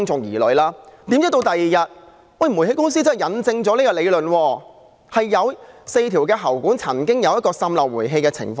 殊不知，第二天煤氣公司印證了這點，有4條喉管曾經出現煤氣滲漏的情況。